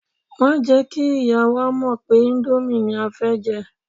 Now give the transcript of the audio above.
Má jẹ́ kí ìyá wa mọ̀ pé íńdómì ni a fẹ́ jẹ.